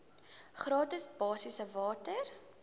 gratis basiese water